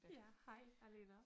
Ja hej Alena